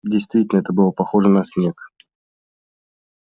действительно это было похоже на снег